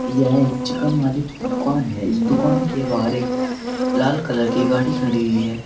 यह एक चिकन वाले की दुकान है इस दुकान के बाहर एक लाल कलर की गाड़ी खड़ी हुई है।